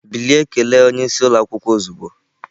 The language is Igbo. Bilie kelee onye isi ụlọ akwụkwọ ozugbo!